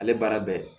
Ale baara bɛ ye